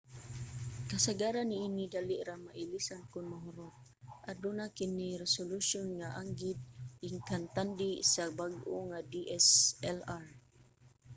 kasagaran niini dali ra mailisan kon mahurot aduna kini resolution nga anggid ikantandi sa mga bag-o nga dslr